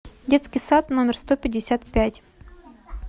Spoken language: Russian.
детский сад номер сто пятьдесят пять